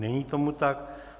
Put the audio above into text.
Není tomu tak.